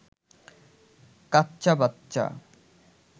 কাচ্চা বাচ্চা